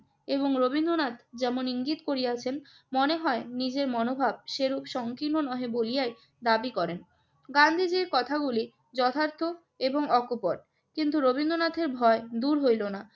এবং রবীন্দ্রনাথ যেমন ইঙ্গিত করিয়াছেন। মনে হয় নিজের মনোভাব সেরূপ সংকীর্ণ নহে বলিয়াই দাবি করেন। গান্ধীজির কথাগুলো যথার্থ এবং অকপট। কিন্তু রবীন্দ্রনাথের ভয় দূর হইল না।